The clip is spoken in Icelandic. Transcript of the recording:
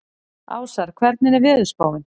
Ásar, hvernig er veðurspáin?